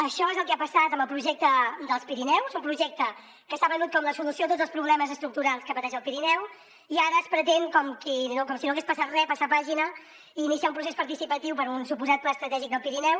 això és el que ha passat amb el projecte dels pirineus un projecte que s’ha venut com la solució a tots els problemes estructurals que pateix el pirineu i ara es pretén com si no hagués passat re passar pàgina i iniciar un procés participatiu per a un suposat pla estratègic del pirineu